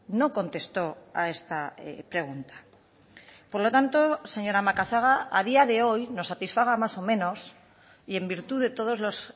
no contesto a esta pregunta por lo tanto señora macazaga a día de hoy nos satisfaga más o menos y en virtud de todos los